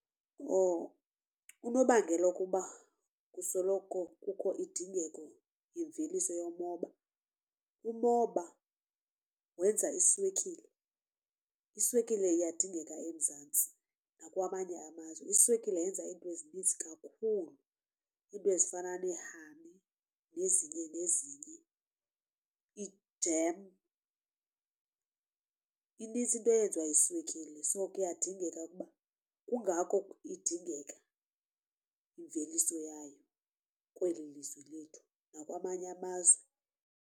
Unobangela wokuba kusoloko kukho indingeko yemveliso yomoba umoba wenza iswekile. Iswekile iyadingeka eMzantsi nakwamanye amazwe. Iswekile yenza iinto ezininzi kakhulu iinto ezifana ne-honey, nezinye nezinye, ijem inintsi into eyenziwa yiswekile. So kuyadingeka ukuba kungako idingeka imveliso yayo kweli lizwe lethu nakwamanye amazwe.